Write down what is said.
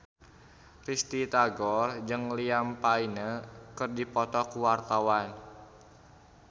Risty Tagor jeung Liam Payne keur dipoto ku wartawan